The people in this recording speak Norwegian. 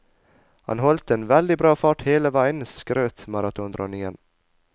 Han holdt en veldig bra fart hele veien, skrøt maratondronningen.